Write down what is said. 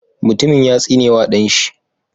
Mutumin ya tsine wa ɗan shi.